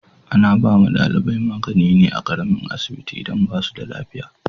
Ana ba wa dalibai magani ne a karamin asibiti idan ba su da lafiya.